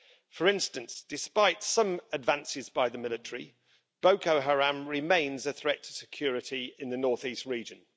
For instance, despite some advances by the military, Boko Haram remains a threat to security in the northeast region.